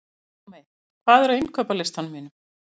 Pálmey, hvað er á innkaupalistanum mínum?